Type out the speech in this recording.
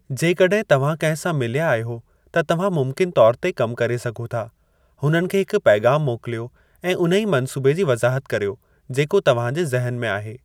जेकॾहिं तव्हां कंहिं सां मिलिया आहियो त तव्हां मुमकिनु तौर ते कमु करे सघो था, हुननि खे हिकु पैग़ामु मोकिलियो ऐं उन ई मंसूबे जी वज़ाहत करियो जेको तव्हां जे ज़हन में आहे।